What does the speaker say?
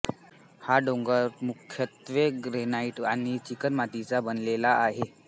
हा डोंगर मुख्यत्वे ग्रॅनाइट आणि चिकणमातीचा बनलेला आहे